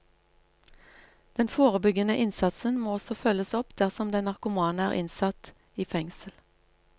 Den forebyggende innsatsen må også følges opp dersom den narkomane er innsatt i fengsel.